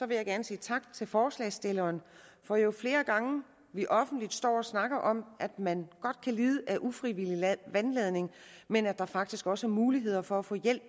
vil jeg gerne sige tak til forslagsstillerne for jo flere gange vi offentligt står og snakker om at man godt kan lide af ufrivillig vandladning men at der faktisk også er muligheder for at få hjælp